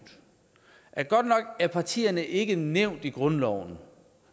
at godt nok er partierne ikke nævnt i grundloven